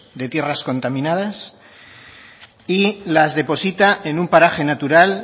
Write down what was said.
de tierras contaminadas y las deposita en un paraje natural